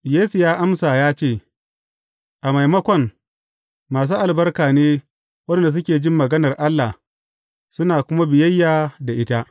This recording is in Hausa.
Yesu ya amsa ya ce, A maimakon, masu albarka ne waɗanda suke jin maganar Allah, suna kuma biyayya da ita.